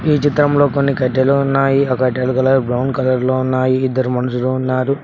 ఈ చిత్రం లో కొన్ని కడ్డీలు ఉన్నాయి ఆ కడ్డీల కలర్ బ్రౌన్ కలర్ లో ఉన్నాయి ఇద్దరు మనుషులు ఉన్నారు.